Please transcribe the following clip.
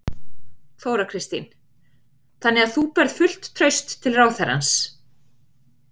Þóra Kristín: Þannig að þú berð fullt traust til ráðherrans?